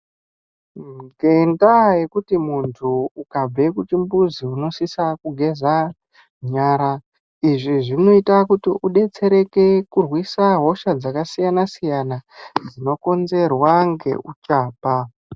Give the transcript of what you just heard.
Ngenda yekuti muntu ukabve kuchimbuzi unosisa kugeza nyara izvi zvinoita idetsere kurwisa hosha dzakasiyana-siyana dzinokonzerwa nehuchapa.